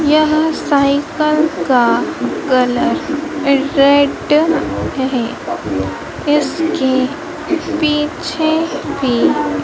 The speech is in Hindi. यह साइकिल का कलर रेड है इसके पीछे भी--